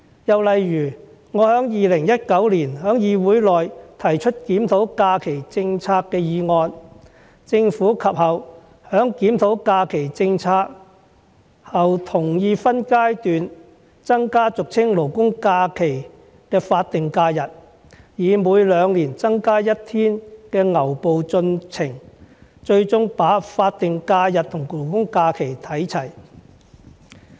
又例如我在2019年在議會內提出檢討假期政策的議案，政府及後在檢討假期政策後同意分階段增加俗稱"勞工假期"的法定假日，以每兩年增加1天的牛步進程，最終把法定假日和公眾假期看齊。